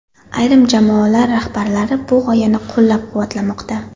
Ayrim jamoalar rahbarlari bu g‘oyani qo‘llab-quvvatlamoqda.